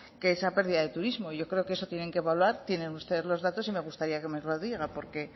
que esa pérdida de turismo y yo creo que eso tienen que evaluar tienen ustedes los datos y me gustaría que nos lo diga porque